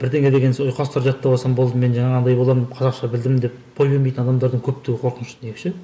бірдеңе деген сол ұйқастар жаттап алсам болды мен жаңағындай боламын қазақша білдім деп бой бермейтін адамдардың көптігі қорқынышты деп ше